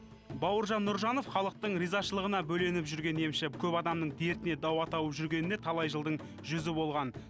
бауыржан нұржанов халықтың ризашылығына бөленіп жүрген емші көп адамның дертіне дауа тауып жүргеніне талай жылдың жүзі болған